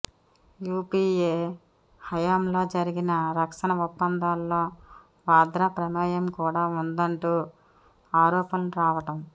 UPA హయాంలో జరిగిన రక్షణ ఒప్పందాల్లో వాద్రా ప్రమేయం కూడా ఉందంటూ ఆరోపణలు రావడం